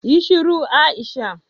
Yi shiru Aisha